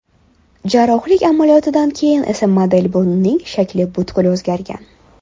Jarrohlik amaliyotidan keyin esa model burnining shakli butkul o‘zgargan.